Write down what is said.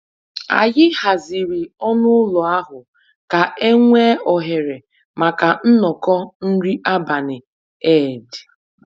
Anyị haziri ọnụ ụlọ ahụ ka e nwee ohere maka nnọkọ nri abalị Eid